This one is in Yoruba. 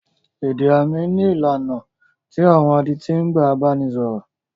Èdè àmì ní ìlànà tí àwọn adití ń gbà bá ni sọ̀rọ̀.